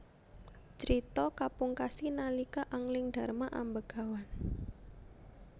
Crita kapungkasi nalika Anglingdarma ambegawan